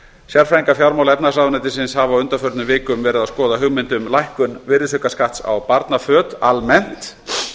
sérfræðingar fjármála og efnahagsráðuneytisins hafa á undanförnum vikum verið að skoða hugmynd um lækkun virðisaukaskatts á barnaföt almennt